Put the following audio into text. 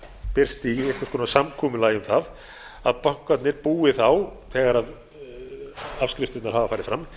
birst í einhvers konar samkomulagi um það að bankarnir búi þá þegar afskriftirnar hafa farið fram